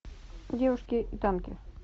девушки и танки